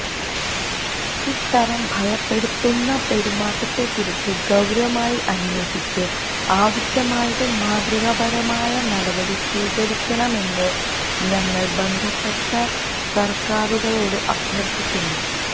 ഇത്തരം ഭയപ്പെടുത്തുന്ന പെരുമാറ്റത്തെക്കുറിച്ച് ഗൌരവമായി അന്വേഷിച്ച് ആവശ്യമായതും മാതൃകാപരവുമായ നടപടി സ്വീകരിക്കണമെന്ന് ഞങ്ങള് ബന്ധപ്പെട്ട സര്ക്കാരുകളോട് അഭ്യര്ത്ഥിക്കുന്നു